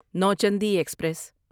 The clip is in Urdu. نوچندی ایکسپریس